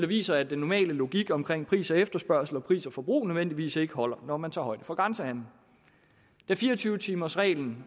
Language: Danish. viser at den normale logik omkring pris og efterspørgsel og pris og forbrug nødvendigvis ikke holder når man tager højde for grænsehandelen da fire og tyve timersreglen